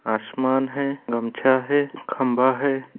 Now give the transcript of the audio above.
आसमान है गमछा है खम्बा है।